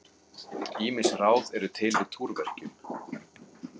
Ýmis ráð eru til við túrverkjum.